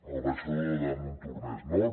el baixador de montornès nord